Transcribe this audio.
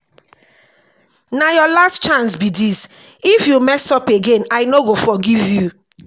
na your last chance be dis if dis if you mess up again i no go forgive you